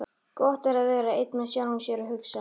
Gott er að vera einn með sjálfum sér og hugsa.